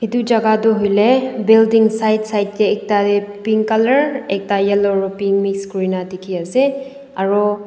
edu jaka tu hoilae building side side tae ekta tae pink colour ekta yellow aro pink mix kurina dikhiase aro.